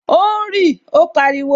O ń rí! Ó pariwo